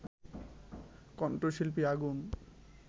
কণ্ঠশিল্পী আগুন